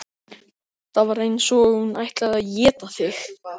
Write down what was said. Það var eins og hún ætlaði að éta þig.